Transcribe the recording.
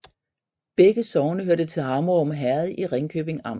Begge sogne hørte til Hammerum Herred i Ringkøbing Amt